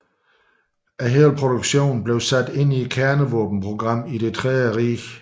Hele produktionen blev sat ind i kernevåbenprogrammet i Det tredje rige